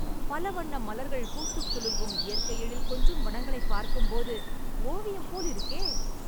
பலவண்ண மலர்கள் பூத்துக் குலுங்கும், இயற்கை எழில் கொஞ்சும் வனங்களைப் பார்க்கும்போது, ஓவியம்போல் இருக்கே...